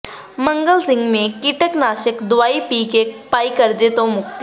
ਮੰਗਲ ਸਿੰਘ ਨੇ ਕੀਟਨਾਸ਼ਕ ਦਵਾਈ ਪੀ ਕੇ ਪਾਈ ਕਰਜ਼ੇ ਤੋਂ ਮੁਕਤੀ